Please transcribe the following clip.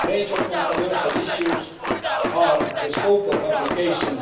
Major controversial issues are the scope of applications